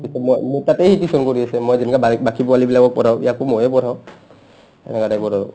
মোৰ তাতে সি tuition কৰি আছে মই যেনেকা বা বাকী পোৱালীবিলাকক পঢ়াও ইয়াকো ময়ে পঢ়াও সেনেকা type ত আৰু